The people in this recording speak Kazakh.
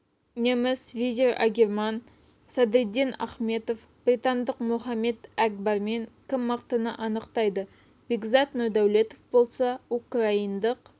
неміс везир агирман садриддин ахметов британдық мохаммед әкбармен кім мықтыны анықтайды бекзат нұрдәулетов болса украиндық